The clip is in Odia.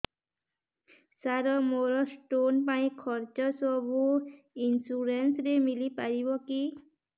ସାର ମୋର ସ୍ଟୋନ ପାଇଁ ଖର୍ଚ୍ଚ ସବୁ ଇନ୍ସୁରେନ୍ସ ରେ ମିଳି ପାରିବ କି